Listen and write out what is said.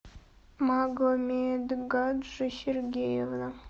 магомедгаджи сергеевна